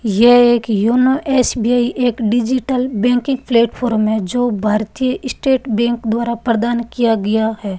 यह एक YONO S B I एक डिजिटल बैंकिंग प्लेटफार्म में जो भारतीय स्टेट बैंक द्वारा प्रदान किया गया है।